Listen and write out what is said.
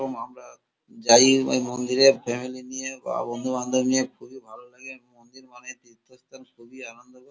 এরকম আমরা যাই। এই মন্দিরে ফ্যামিলি নিয়ে বা বন্ধুবান্ধব নিয়ে খুবই ভালো লাগে। মন্দির খুবই আনন্দ।